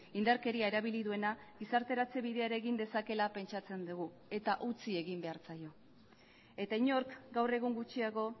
indarkeria erabili duena gizarteratze bidea ere egin dezakeela pentsatzen dugu eta utzi egin behar zaio eta inork gaur egun gutxiago